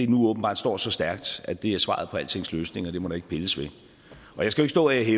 nu åbenbart står så stærkt at det er svaret på altings løsning og at det må der ikke pilles ved og jeg skal jo ikke